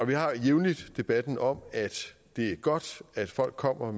vi har jævnligt debatten om at det er godt at folk kommer